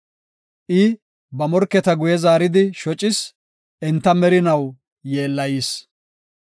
I ba morketa guye zaaridi shocis; enta merinaw yeellayis.